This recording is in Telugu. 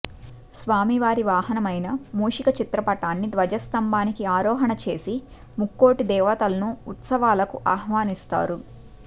స్వామివారి వాహనమైన మూషికచిత్రపటాన్ని ధ్వజస్తంభానికి ఆరోహణ చేసి ముక్కోటి దేవతలను ఉత్సవాలకు ఆహ్వానిస్తారు